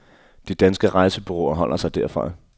De danske rejsebureauer holder sig derfra.